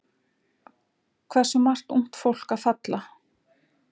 Hversu margt ungt fólk að falla?